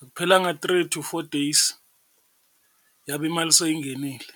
Akuphelanga three to four days yabe imali seyingenile.